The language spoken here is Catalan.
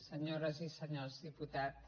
senyores i senyors diputats